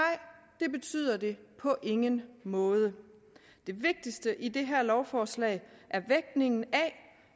det betyder det på ingen måde det vigtigste i det her lovforslag er vægtningen af